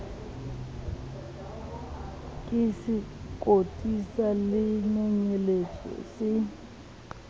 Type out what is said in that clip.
ke sekoti sa lenonyeletso se